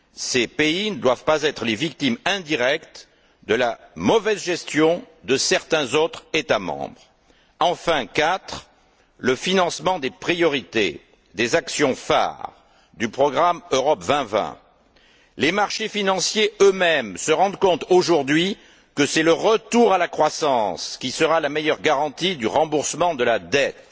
Ces pays ne doivent pas être les victimes indirectes de la mauvaise gestion de certains autres États membres. Quatrièmement, le financement des priorités des actions phares de la stratégie Europe 2020. Les marchés financiers eux mêmes se rendent compte, aujourd'hui, que c'est le retour à la croissance qui sera la meilleure garantie du remboursement de la dette.